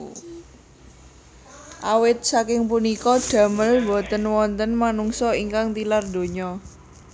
Awit saking punika damel boten wonten manungsa ingkang tilar donya